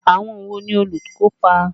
Àwọn wo ni olùkópa?